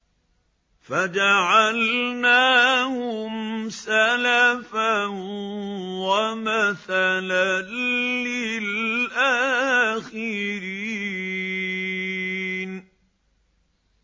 فَجَعَلْنَاهُمْ سَلَفًا وَمَثَلًا لِّلْآخِرِينَ